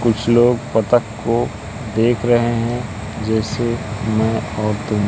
कुछ लोग बतख को देख रहे हैं जैसे मैं और तुम।